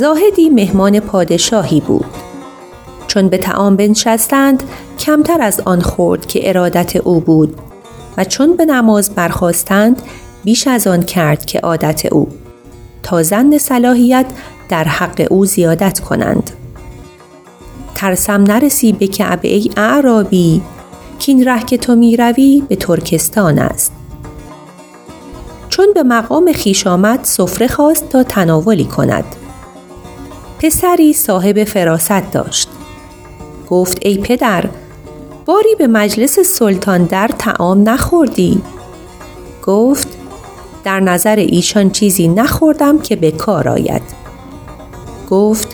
زاهدی مهمان پادشاهی بود چون به طعام بنشستند کمتر از آن خورد که ارادت او بود و چون به نماز برخاستند بیش از آن کرد که عادت او تا ظن صلاحیت در حق او زیادت کنند ترسم نرسی به کعبه ای اعرابی کاین ره که تو می روی به ترکستان است چون به مقام خویش آمد سفره خواست تا تناولی کند پسری صاحب فراست داشت گفت ای پدر باری به مجلس سلطان در طعام نخوردی گفت در نظر ایشان چیزی نخوردم که به کار آید گفت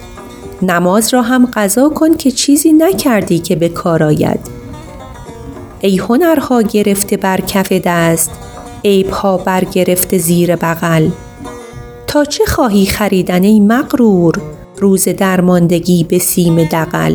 نماز را هم قضا کن که چیزی نکردی که به کار آید ای هنرها گرفته بر کف دست عیبها بر گرفته زیر بغل تا چه خواهی خریدن ای مغرور روز درماندگی به سیم دغل